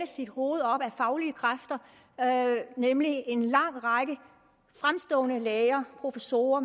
sit hoved op ad faglige kræfter nemlig en lang række fremstående læger professorer